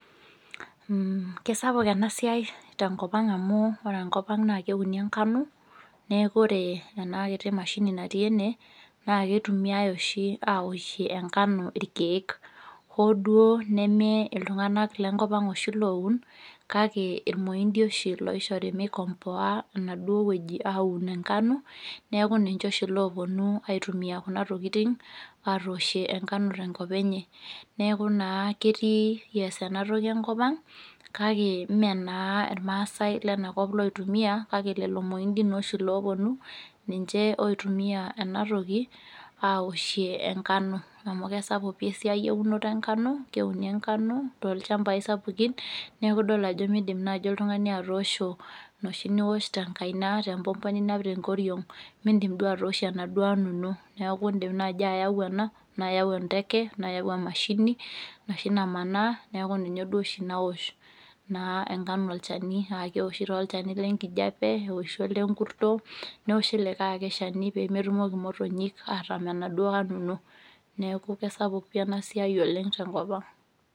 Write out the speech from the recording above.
Kesapuk enasiai tenkop ang amu ore enkop ang na keuni enkano neakubore enakiti mashini natii ene na ketumiai oshi aoshie enkano irkiek oo duo nemeltunganak oshi lenkop aag oun kake irmoindi oahibloishori mikomboa enoshiwueji enkano neakubninche oshi oponu aikomboaa aoshie ngano tenkop enye neaku ketii enatoki enkop ang kake menaaa irmaasai lenakop oitumia kake lolo mointi oshi oponu aitunia enatoki aoshie enkano amu kesapuk esiai eunoto enkano keuni enkano tolchambai sapukin neaku idol ajo midim oltungani atoosho enoshi niwosh tenkaina ,enoshi niwosh inapita tenkoriong mindim duo atoosho enda nkano ino na iyau emashini enoshi namanaa neaku ninye oshi naosh naa enkano olchani amu keoshi olchani lenkijape ,lenkurto neoshi nkulie shani pemetumoki motonyi atumut enaduo nkano ino neaku kesapuk enasiai oleng tenkop aang.